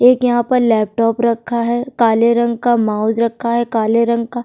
एक यहाँ पर लैपटॉप रखा है काले रंग का माउस रखा है काले रंग का --